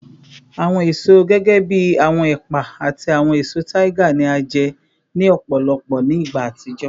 Awọn eso gẹgẹbi awọn epa ati awọn eso tiger ni a jẹ ni ọpọlọpọ ni igba atijọ